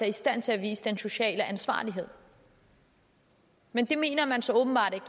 i stand til at vise den sociale ansvarlighed men det mener man så åbenbart ikke